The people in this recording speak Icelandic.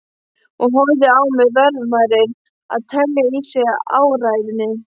Og horfði á mig, varfærin að telja í sig áræðni.